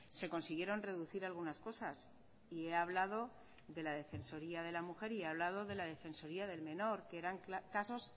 se consiguieron reducir algunas cosas y he hablado de la defensoría de la mujer y he hablado de la defensoría del menor que eran casos